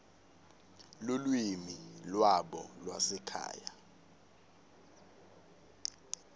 lulwimi lwabo lwasekhaya